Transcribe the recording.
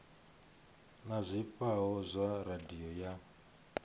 na zwifhao zwa radio ya